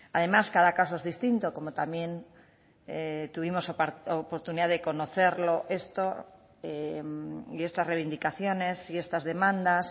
además cada caso es distinto como también tuvimos oportunidad de conocerlo esto y estas reivindicaciones y estas demandas